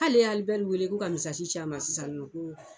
K'ale ye Alibɛri wele ko ka ci a ma sisan ko